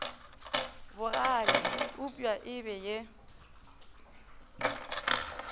bogale eupša e be ye